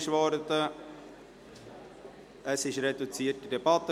Wir führen eine reduzierte Debatte.